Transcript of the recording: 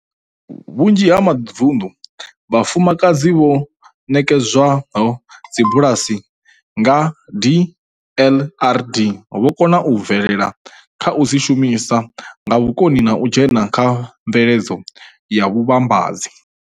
Kha vhunzhi ha mavunḓu, vhafumakadzi vho ṋekedzwaho dzibulasi nga DLRD vho kona u bvelela kha u dzi shumisa nga vhukoni na u dzhena kha mveledzo ya vhuvhambadzi.